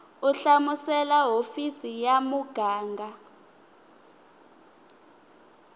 u hlamusela hofisi ya muganga